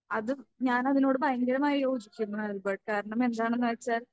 അത് ഞാൻ അതിനോട് ഭയങ്കരമായി യോജിക്കുന്നു ആൽബർട്ട്. കാരണം എന്താണെന്ന് വെച്ചാൽ